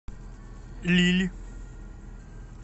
лилль